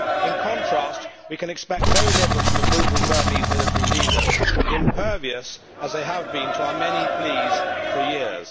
In contrast, we can expect very little from the brutal Burmese military leaders, impervious as they have been to our many pleas for years.